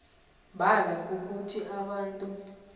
mbala kukuthi abantu